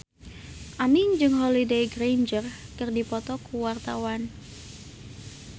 Aming jeung Holliday Grainger keur dipoto ku wartawan